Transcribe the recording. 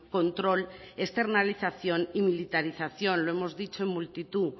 control externalización y militarización lo hemos dicho en multitud de